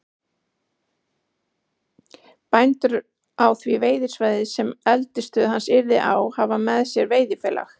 Bændur á því veiðisvæði, sem eldisstöð hans yrði á, hafa með sér veiðifélag